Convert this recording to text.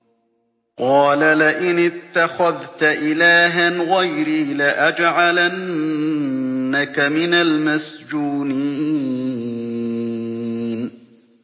قَالَ لَئِنِ اتَّخَذْتَ إِلَٰهًا غَيْرِي لَأَجْعَلَنَّكَ مِنَ الْمَسْجُونِينَ